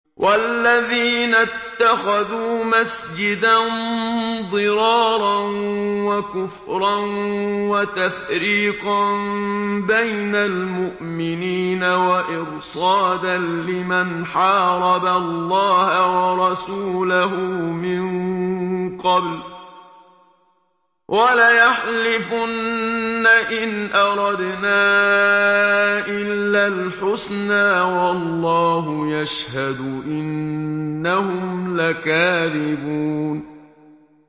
وَالَّذِينَ اتَّخَذُوا مَسْجِدًا ضِرَارًا وَكُفْرًا وَتَفْرِيقًا بَيْنَ الْمُؤْمِنِينَ وَإِرْصَادًا لِّمَنْ حَارَبَ اللَّهَ وَرَسُولَهُ مِن قَبْلُ ۚ وَلَيَحْلِفُنَّ إِنْ أَرَدْنَا إِلَّا الْحُسْنَىٰ ۖ وَاللَّهُ يَشْهَدُ إِنَّهُمْ لَكَاذِبُونَ